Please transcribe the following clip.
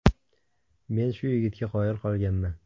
Men shu yigitga qoyil qolganman.